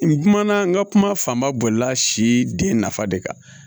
N kumana n ka kuma fanba bolila si den nafa de kan